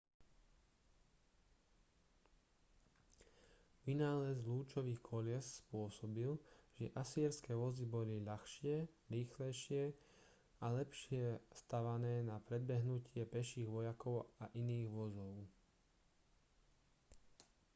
vynález lúčových kolies spôsobil že asýrske vozy boli ľahšie rýchlejšie a lepšie stavané na predbehnutie peších vojakov a iných vozov